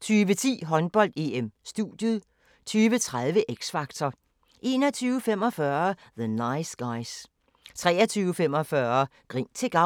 20:10: Håndbold: EM - studiet 20:30: X Factor 21:45: The Nice Guys 23:45: Grin til gavn